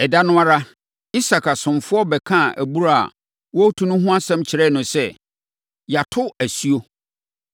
Ɛda no ara, Isak asomfoɔ bɛkaa abura a na wɔretu no ho asɛm kyerɛɛ no sɛ, “Yɛato nsuo.”